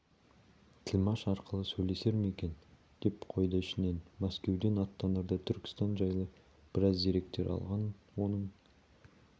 тілмаш арқылы сөйлесер ме екен деп қойды ішінен мәскеуден аттанарда түркістан жайлы біраз деректер алған оның